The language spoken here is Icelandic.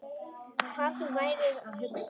Hvað þú værir að hugsa.